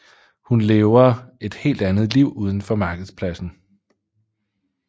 Hun lever et helt andet liv uden for markedspladsen